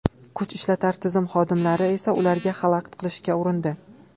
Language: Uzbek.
Kuch ishlatar tizim xodimlari esa ularga xalaqit qilishga urindi.